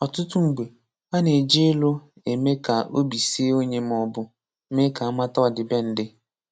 Ọtụtụ mgbe, ana-eji ịlụ eme ka obi sie onye maọbụ méé ka amata ọdịbendị.